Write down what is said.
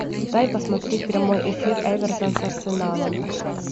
дай посмотреть прямой эфир эвертон с арсеналом